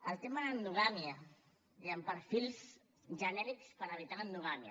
el tema de l’endogàmia diguem ne perfils genèrics per evitar l’endogàmia